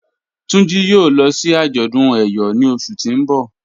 Tunji yòò lọ sí àjọdún ẹ̀yọ̀ ní ọṣù tí n bọ̀.